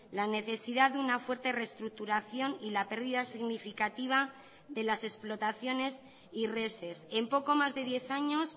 la necesidad de una fuerte reestructuración y la pérdida significativa de las explotaciones y reses en poco más de diez años